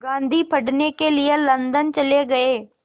गांधी पढ़ने के लिए लंदन चले गए